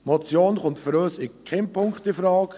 Die Motion kommt für uns in keinem Punkt infrage.